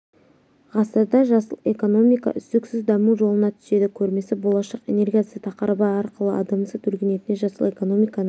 ғасырда жасыл экономика үздіксіз даму жолына түседі көрмесі болашақ энергиясы тақырыбы арқылы адамзат өркениетіне жасыл экономиканың